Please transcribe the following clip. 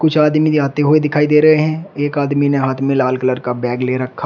कुछ आदमी जाते हुए दिखाई दे रहे हैं एक आदमी ने हाथ में लाल कलर का बैग ले रखा है।